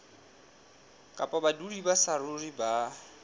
kapa badudi ba saruri ba